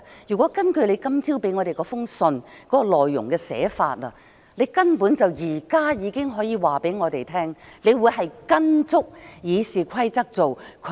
如果根據你今早給我們的信的內容，你根本現在已經可以告訴我們，你會嚴格按照《議事規則》行事。